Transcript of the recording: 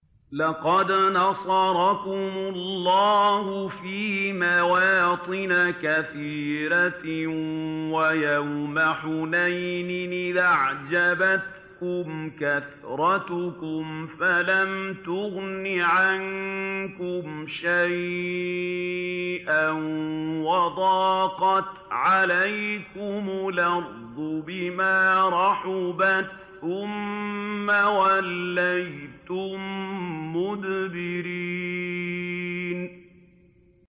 لَقَدْ نَصَرَكُمُ اللَّهُ فِي مَوَاطِنَ كَثِيرَةٍ ۙ وَيَوْمَ حُنَيْنٍ ۙ إِذْ أَعْجَبَتْكُمْ كَثْرَتُكُمْ فَلَمْ تُغْنِ عَنكُمْ شَيْئًا وَضَاقَتْ عَلَيْكُمُ الْأَرْضُ بِمَا رَحُبَتْ ثُمَّ وَلَّيْتُم مُّدْبِرِينَ